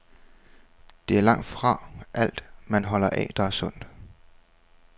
Det er langtfra alt, man holder af, der er sundt.